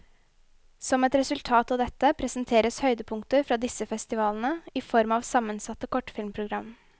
Som et resultat av dette, presenteres høydepunkter fra disse festivalene i form av sammensatte kortfilmprogram.